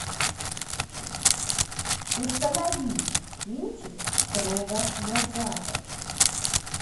установи кинчик строго на запад